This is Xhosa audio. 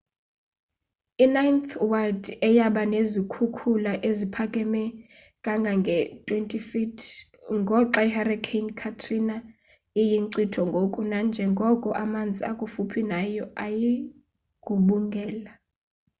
i-ninth ward eyaba nezikhukhula eziphakame kangange-20 feet ngoxa ihurricane katrina iyinkcitho ngoku-najengoko amanzi akufuphi nayo ayigubungela